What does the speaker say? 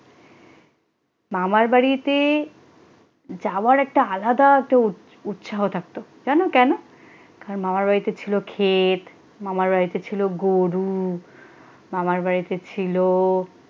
মামার বাড়িতে যাওয়ার একটা আলাদা তোর উৎসাহ থাকতো কেন কেন কারণ মামার বাড়িতে ছিল ক্ষেত মামার বাড়িতে ছিল গরু মামার বাড়িতে ছিল।